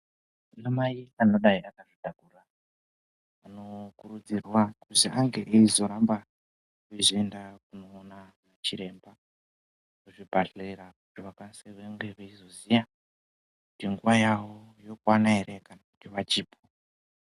Ana mai vanOdai vakazvitakura kuzi ange eizoramba veienda kunoona chiremba kuzvibhadhlera kusi vakwanise vange veizoziya kuti nguwa yavo yokwana ere kana kuti pachipo.